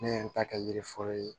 Ne ye n ta kɛ yiri fɔlɔ ye